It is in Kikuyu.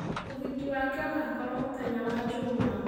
Ũhiki wake ũgaakorũo mũthenya wa njuuma.